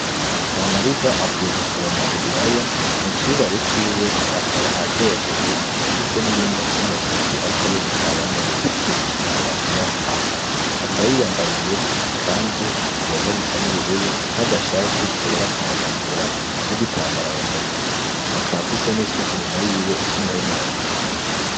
Kamariza avuye gusoroma ibiraya mu cibare ciwe akaba aryohewe afise n'ibindi afise mu ntoki arikarere kabamwerekeje umwimbu akwiyaho hantu akaba yiyambariye ikanzu igomba gusa n'ubururu n'agashati kera kanatukura n'igitambara mu mutwe akaba afise n'isuka inyuma yiwe ifise umuhini munini.